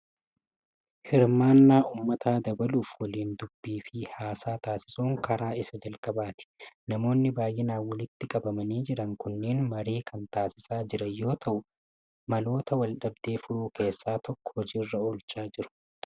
Hirmaannaa uummataa dabaluuf waliin dubbii fi haasaa taasisuun karaa isa jalqabaati. Namoonni baay'inaan walitti qabamanii jiran kunneen marii kan taasisaa jiran yoo ta'u, maloota wal dhabdee furuu keessaa tokko hojiirra oolchaa jiru.